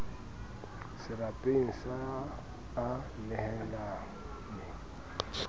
serapeng sa a a nehelane